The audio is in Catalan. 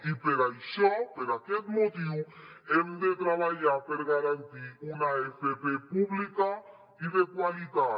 i per això per aquest motiu hem de treballar per garantir una fp pública i de qualitat